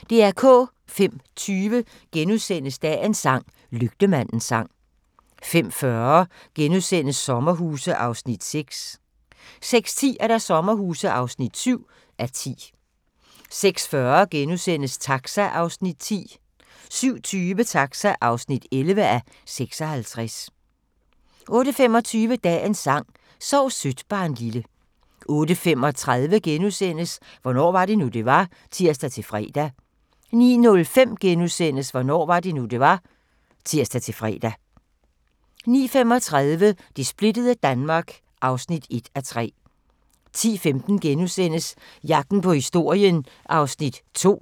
05:20: Dagens sang: Lygtemandens sang * 05:40: Sommerhuse (6:10)* 06:10: Sommerhuse (7:10) 06:40: Taxa (10:56)* 07:20: Taxa (11:56) 08:25: Dagens sang: Sov sødt barnlille 08:35: Hvornår var det nu, det var? *(tir-fre) 09:05: Hvornår var det nu, det var? *(tir-fre) 09:35: Det splittede Danmark (1:3) 10:15: Jagten på historien (2:8)*